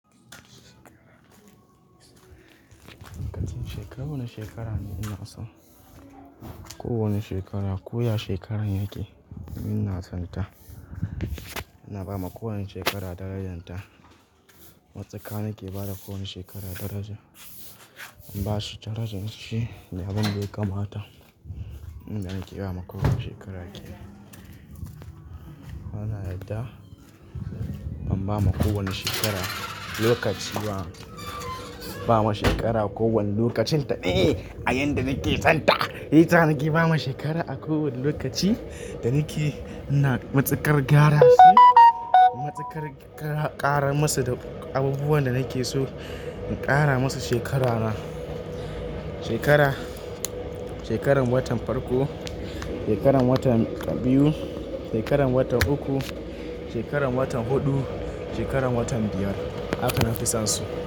Lokacin shekaru wani shekara ne ina son. Ko wani shekara, koya shekaran yake ina son ta. Ina bawa ko wani shekara darajan ta. Matsaka na ke bada kowane shekara daraja. In bashi darajan shi, nayi abun ya kamata. Inda nake bawa kowane shekara kenan. Bana yarda ban bawa kowane shekara lokaci wa. Bawa shekara kowane lokacin ta, eh a yayinda nake son ta. Hita nake bawa shekara a kowane lokaci da nake ina matsakar gyara su. Matsakar kara musu da abubuwan da nake so in kara musu shekara na. Shekara shekaran watan farko, shekaran watan biyu, shekaran watan uku shekaran watan hufu shekaran watan biyar haka nafi sonsu.